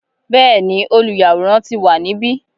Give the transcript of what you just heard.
Bẹ́ẹ̀ ni, olùyàwòrán ti wà níbi